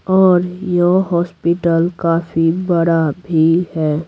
और यह हॉस्पिटल काफी बड़ा भी है।